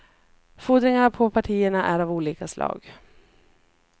Fordringarna på partierna är av olika slag.